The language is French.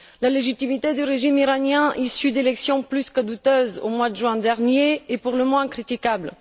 La légitimité du régime iranien issu d'élections plus que douteuses au mois de juin dernier est pour le moins critiquable.